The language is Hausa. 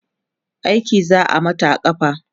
aiki za'a Mata a kafa